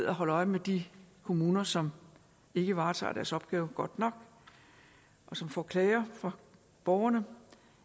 at holde øje med de kommuner som ikke varetager deres opgave godt nok og som får klager fra borgerne om